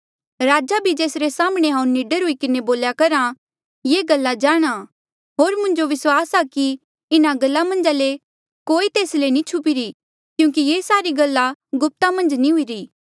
राजा भी जेसरे साम्हणें हांऊँ निडर हुई किन्हें बोल्या करहा ये गल्ला जाणहां होर मुंजो विस्वास आ कि इन्हा गल्ला मन्झा ले कोई तेस ले नी छुपिरी क्यूंकि ये सारी गल्ला गुप्ता मन्झ नी हुईरी